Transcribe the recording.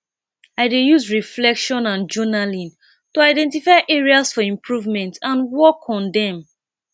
i dey use reflection and journaling to identify areas for improvement and work on dem